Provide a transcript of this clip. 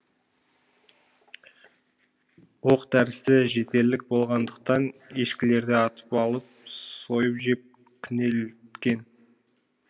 оқ дәрісі жетерлік болғандықтан ешкілерді атып алып сойып жеп күнелткен